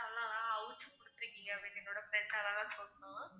ஆஹ் அவுச்சி குடுத்துருக்கீங்க அப்படின்னு என்னோட friend அழகா சொன்னான்